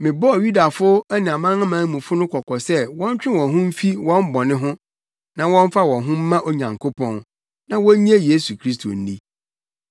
Mebɔɔ Yudafo ne amanamanmufo no kɔkɔ sɛ wɔntwe wɔn ho mfi wɔn bɔne ho na wɔmfa wɔn ho mma Onyankopɔn, na wonnye Yesu Kristo nni.